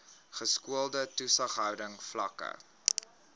geskoolde toesighouding vlakke